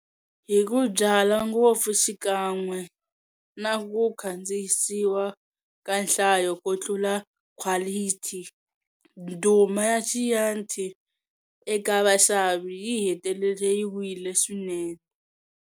Hiku byala ngopfu xikan'we naku khandziyisiwa ka nhlayo kutlula khwalithi, ndhuma ya Chianti eka vaxavi yihetelele yi wile swinene.